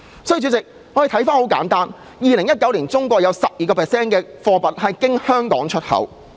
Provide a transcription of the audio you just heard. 主席，在2019年，中國有 12% 貨物經香港出口。